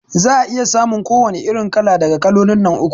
Za'a iya samun ko wani irin kala daga kalolin nan uku